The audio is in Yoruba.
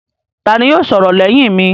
Ta ni yóò sọ̀rọ̀ lẹ́yìn mi?